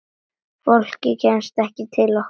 Fólk kemst ekki til okkar.